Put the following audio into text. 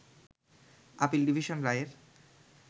appeal division রায়ের